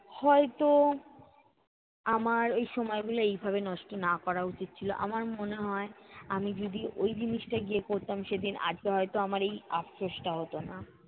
হয়ত আমার ঐ সময়গুলা এইভাবে নষ্ট না করা উচিৎ ছিল, আমার মনে হয় আমি যদি ঐ জিনিসটা গিয়ে করতাম সেদিন আজকে হয়ত আমার এই আফসোস টা হতো না।